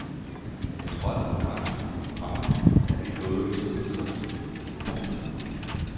Jeg trådte på bremsen, komma da vi nåede til indkørslen. punktum